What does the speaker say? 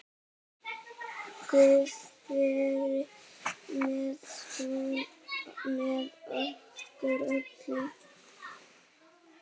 Guð veri með okkur öllum.